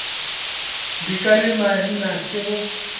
dika le maina ke go